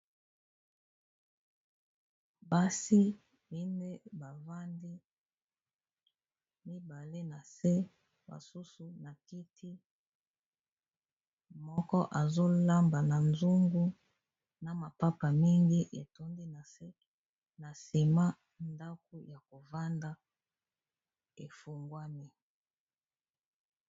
Basi mine bavandi mibale na se basusu na kiti moko azolamba na zungu na mapapa mingi etondi na se na sima ndako ya kovanda efungwami.